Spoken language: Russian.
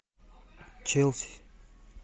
челси